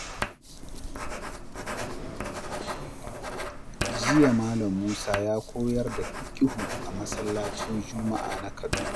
Jiya, Malam Musa ya koyar da fiqihu a masallacin Juma’a na Kaduna.